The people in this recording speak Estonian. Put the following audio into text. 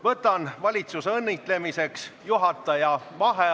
Võtan valitsuse õnnitlemiseks juhataja vaheaja.